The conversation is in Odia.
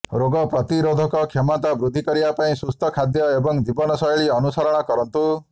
ରୋଗ ପ୍ରତିରୋଧ କ୍ଷମତା ବୃଦ୍ଧି କରିବା ପାଇଁ ସୁସ୍ଥ ଖାଦ୍ୟ ଏବଂ ଜୀବନଶୈଳୀ ଅନୁସରଣ କରନ୍ତୁ